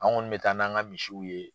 An kɔn bɛ taa n'an ka misiw ye.